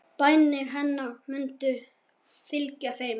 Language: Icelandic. Bænir hennar munu fylgja þeim.